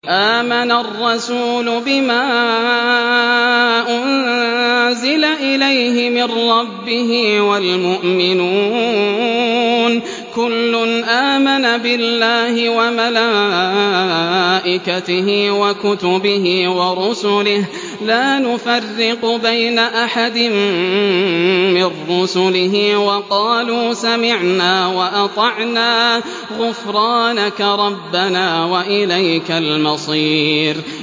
آمَنَ الرَّسُولُ بِمَا أُنزِلَ إِلَيْهِ مِن رَّبِّهِ وَالْمُؤْمِنُونَ ۚ كُلٌّ آمَنَ بِاللَّهِ وَمَلَائِكَتِهِ وَكُتُبِهِ وَرُسُلِهِ لَا نُفَرِّقُ بَيْنَ أَحَدٍ مِّن رُّسُلِهِ ۚ وَقَالُوا سَمِعْنَا وَأَطَعْنَا ۖ غُفْرَانَكَ رَبَّنَا وَإِلَيْكَ الْمَصِيرُ